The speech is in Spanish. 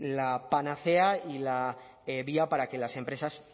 la panacea y la vía para que las empresas